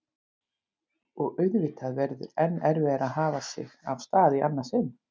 Og auðvitað verður enn erfiðara að hafa sig af stað í annað sinn.